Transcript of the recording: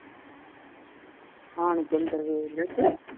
ਆਣ ਕੇ ਅੰਦਰ ਵੇਖ ਲਵੋ ਤੇ